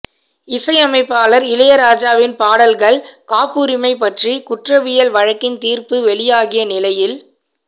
இசையமைப்பாளர் இளையராஜாவின் பாடல்கள் காப்புரிமை பற்றி குற்றவியல் வழக்கின் தீர்ப்பு வெளியாகிய நிலையில்